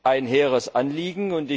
Ein hehres Anliegen.